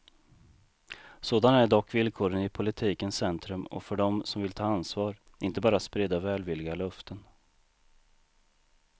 Sådana är dock villkoren i politikens centrum och för dem som vill ta ansvar, inte bara sprida välvilliga löften.